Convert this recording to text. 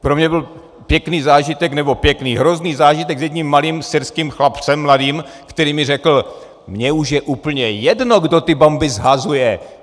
Pro mě byl pěkný zážitek - nebo pěkný - hrozný zážitek s jedním malým syrským chlapcem, mladým, který mi řekl: "Mně už je úplně jedno, kdo ty bomby shazuje!